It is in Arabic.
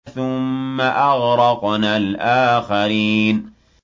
ثُمَّ أَغْرَقْنَا الْآخَرِينَ